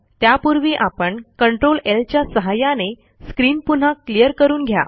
त्यापूर्वी आपण Ctrl ल च्या सहाय्याने स्क्रीन पुन्हा क्लियर करून घ्या